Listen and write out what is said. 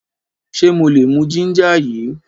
Ṣe mo lè mú ginger yìí?